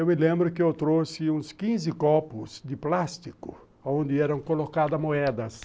Eu me lembro que eu trouxe uns quinze copos de plástico onde eram colocadas moedas.